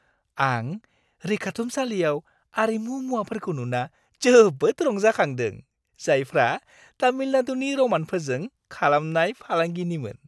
आं रैखाथुमसालियाव आरिमु मुवाफोरखौ नुना जोबोद रंजाखांदों, जायफ्रा तामिलनाडुनि र'मानफोरजों खालामनाय फालांगिनिमोन।